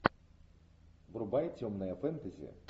врубай темное фэнтези